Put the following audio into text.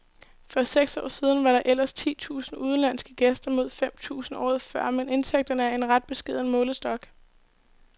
For seks år siden var der ellers ti tusinde udenlandske gæster mod fem tusinde året før, men indtægterne er af ret beskeden målestok.